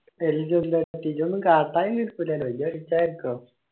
എന്ത് എന്ത് പറ്റീല എന്തേലും കാട്ടായിരിക്കോ